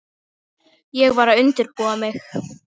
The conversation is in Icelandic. Ég var að undirbúa mig.